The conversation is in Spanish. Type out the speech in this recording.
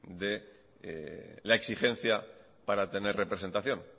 de la exigencia para tener representación